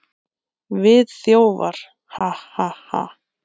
Við þjófar, ha, ha, ha.